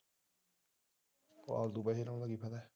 ਆਹੋ